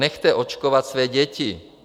Nechte očkovat své děti.